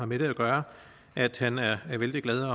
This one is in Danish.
med det at gøre at han er vældig glad